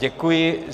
Děkuji.